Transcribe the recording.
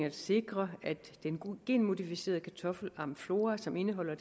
at sikre at den genmodificerede kartoffel amflora som indeholder